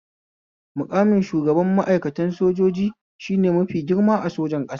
Maƙamin shugaban ma'aikatan sojjoji shne mafi girma a sojan ƙasa